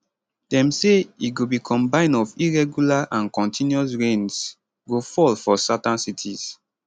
dem say e go be combine of irregular and continuous rains go fall for southern cities